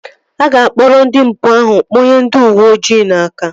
A ga-akpụrụ ndị mpụ ahụ kpụnye ndị uweojii n'aka